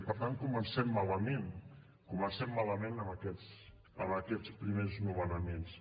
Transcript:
per tant comencem malament comencem malament amb aquests primers nomenaments